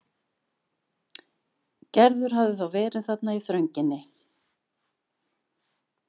Gerður hafði þá verið þarna í þrönginni.